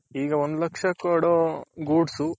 ಈಗ ಒಂದು ಲಕ್ಷ ಕೊಡೊ goods